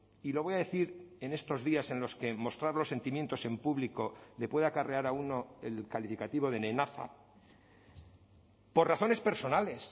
y lo voy a decir en estos días en los que mostrar los sentimientos en público le puede acarrear a uno el calificativo de nenaza por razones personales